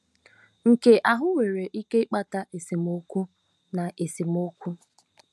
Nke ahụ nwere ike ịkpata esemokwu na esemokwu.